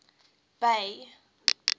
bay